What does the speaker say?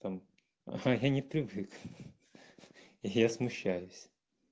там я не привык я смущаюсь